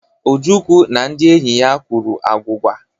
Ojukwu na ndị enyi ya kwuru agwụgwa.